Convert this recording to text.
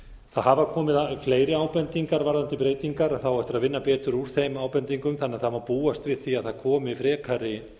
hafa komið fleiri ábendingar varðandi breytingar en það á eftir að vinna betur úr þeim ábendingum þannig að það má búast við því að það komi frekari